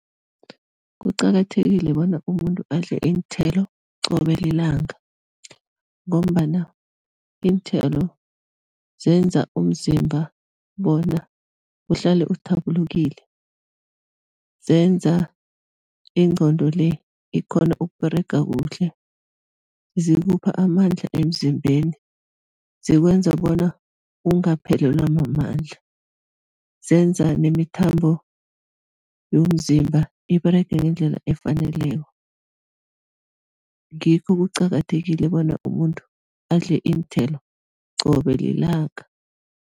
Kuqakathekile bona umuntu adle iinthelo qobe lilanga ngombana iinthelo zenza umzimba bona uhlale uthabulukile, zenza ingqondo le ikghone ukUberega kuhle, zikupha amandla emzimbeni, zikwenza bona ungaphelelwa mamandla, zenza nemithambo yomzimba iberege ngendlela efaneleko ngikho kuqakathekile bona umuntu adle iinthelo qobe lilanga.